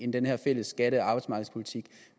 den her fælles skatte og arbejdsmarkedspolitik